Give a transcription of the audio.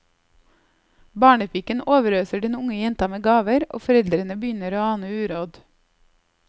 Barnepiken overøser den unge jenta med gaver, og foreldrene begynner å ane uråd.